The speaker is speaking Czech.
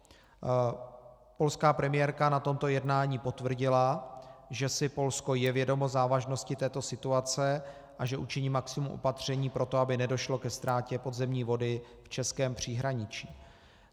Polská premiérka na tomto jednání potvrdila, že si Polsko je vědomo závažnosti této situace a že učiní maximum opatření pro to, aby nedošlo ke ztrátě podzemní vody v českém příhraničí.